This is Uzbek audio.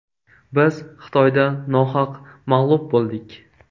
Biz Xitoyda nohaq mag‘lub bo‘ldik.